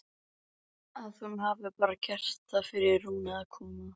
Að hún hafi bara gert það fyrir Rúnu að koma.